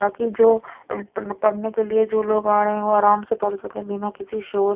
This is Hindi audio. बाकि जो पप पड़ने के लिए जो लोग आ रहे है वो आरम से पड़ सके बिना किसी शोर--